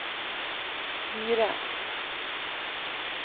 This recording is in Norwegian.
gire